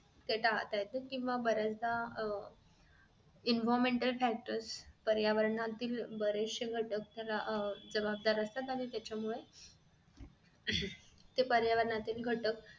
छटा त्यातून बऱ्याचदा अह environment factors पर्यावरणातील बरेचशे घटक ह्याला जबाबदार असतात आणि त्याच्यामुळे आह पर्यावरणातील घटक